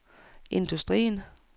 industrien